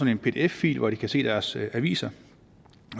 en pdf fil hvor de kan se deres aviser